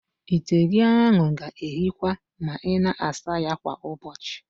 Ite gị ahụ ga-èhíkwa ma ị na-asa ya kwa ụbọchị.